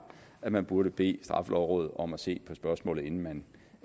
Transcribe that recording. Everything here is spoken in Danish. at man burde bede straffelovrådet om at se på spørgsmålet inden man